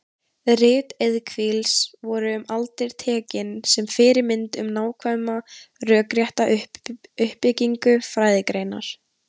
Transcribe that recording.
Rit Evklíðs voru um aldir tekin sem fyrirmynd um nákvæma rökrétta uppbyggingu fræðigreinar.